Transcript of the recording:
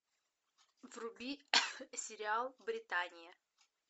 вруби сериал британия